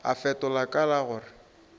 a fetola ka la gore